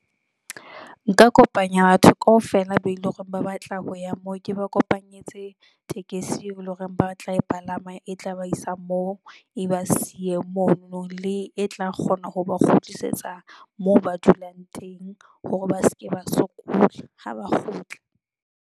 Nka kopanya batho kaofela be eleng hore ba batla ho ya moo, ke ba kopanyetse tekesi eo eleng hore ba tla e palama, e tla ba isa moo, e ba siye mono le e tla kgona ho ba kgutlisetsa moo ba dulang teng hore ba seke, ba sokola ha ba kgutla.